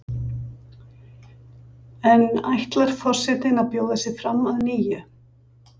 En ætlar forsetinn að bjóða sig fram að nýju?